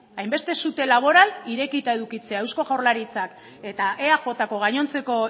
hainbeste sute laboral irekita edukitzea eusko jaurlaritzak eta eajko gainontzeko